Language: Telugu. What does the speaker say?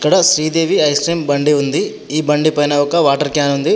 ఇక్కడ శ్రీదేవి ఐస్ క్రీమ్ బండి ఉంది. ఈ బండి పైన ఒక వాటర్ క్యాన్ ఉంది.